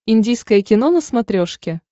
индийское кино на смотрешке